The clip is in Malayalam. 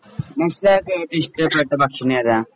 നശ്വലാക്ക് ഏറ്റവും ഇഷ്ടപ്പെട്ട ഭക്ഷണം ഏതാ?